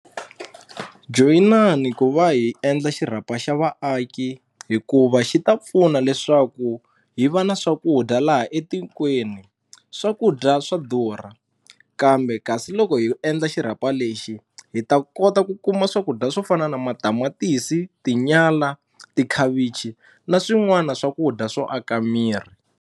Joyinani ku va hi endla xirhapa xa vaaki hikuva xi ta pfuna leswaku hi va na swakudya laha etikweni swakudya swa durha kambe kasi loko hi endla xirhapa lexi hi ta kota ku kuma swakudya swo fana na matamatisi tinyala tikhavichi na swin'wana swakudya swo aka miri.